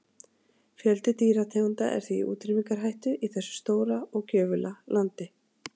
Fjöldi dýrategunda er því í útrýmingarhættu í þessu stóra og gjöfula landi.